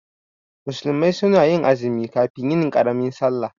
Musulmi suna azumi kafin yin karamin sallah